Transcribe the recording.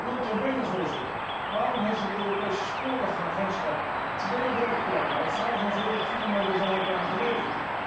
Nota bene, Voorzitter, waarom heeft het Europese Spoorwegagentschap twee werkplekken, op 45 kilometer van elkaar gelegen?